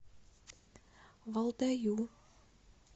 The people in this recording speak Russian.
валдаю